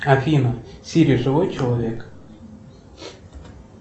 афина сири живой человек